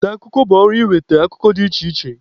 Nta akụkọ bụ ọrụ ịnweta akụkọ dị iche iche.